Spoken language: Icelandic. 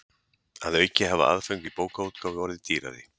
Að auki hafa aðföng í bókaútgáfu orðið dýrari.